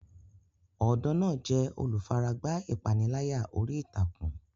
Ọ̀dọ́ náà jẹ́ olùfaragbá ìpániláyà orí ìtàkùn.